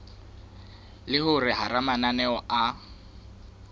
le hore hara mananeo a